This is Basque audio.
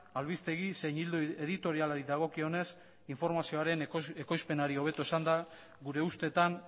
albistegi zein ildo editorialari dagokionez informazioaren ekoizpenari hobeto esanda gure ustetan